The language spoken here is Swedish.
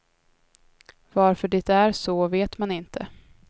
Varför det är så vet man inte.